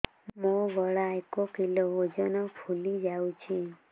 ମୋ ଗଳା ଏକ କିଲୋ ଓଜନ ଫୁଲି ଯାଉଛି